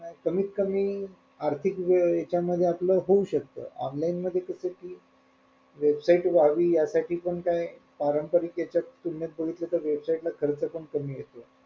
कमीत कमी आर्थिक यांच्यामध्ये आपलं होऊ शकत online मध्ये कस कि website व्हावी ह्यासाठी पण काय पारंपरिक यांच्यात किंमत बघितलं तर website ला खर्च पण कमी येतो.